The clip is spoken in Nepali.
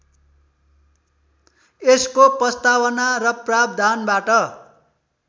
यसको प्रस्तावना र प्रावधानबाट